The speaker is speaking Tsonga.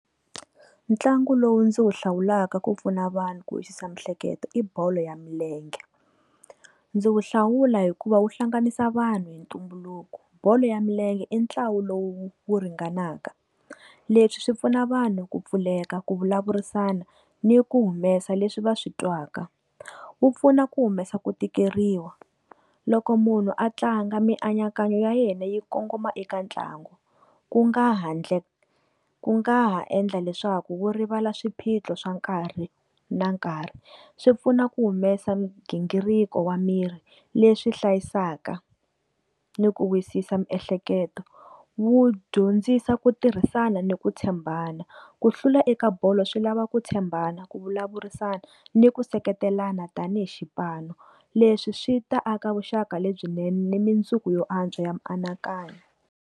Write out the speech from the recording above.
Ntlangu lowu ndzi wu hlawulaka ku pfuna vanhu ku wisisa miehleketo i bolo ya milenge ndzi wu hlawula hikuva wu hlanganisa vanhu hi ntumbuluko, bolo ya milenge i ntlangu lowu wu ringanaka leswi swi pfuna vanhu ku pfuleka ku vulavurisana ni ku humesa leswi va swi twaka, wu pfuna ku humesa ku tikeriwa loko munhu a tlanga mianakanyo ya yena yi kongoma eka ntlangu ku nga handle ku nga ha endla leswaku wu rivala swiphiqo swa nkarhi na nkarhi swi pfuna ku humesa nghingiriko wa miri leswi hlayisaka ni ku wisisa miehleketo, wu dyondzisa ku tirhisana ni ku tshembana ku hlula eka bolo swi lava ku tshembana ku vulavurisana ni ku seketelana tanihi xipano leswi swi ta aka vuxaka lebyinene ni mundzuku yo antswa ya mianakanyo.